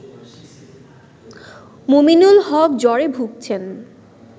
মুমিনুল হক জ্বরে ভুগছেন